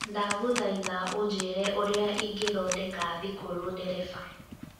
ndagũthaĩtha ũjĩire ũrĩa ĩngithondeka thikũrũ ndereba